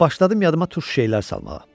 Başladım yadıma turş şeylər salmağa.